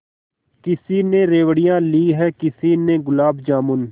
किसी ने रेवड़ियाँ ली हैं किसी ने गुलाब जामुन